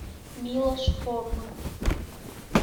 милош форман